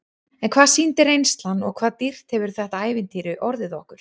En hvað sýndi reynslan og hvað dýrt hefur þetta ævintýri orðið okkur?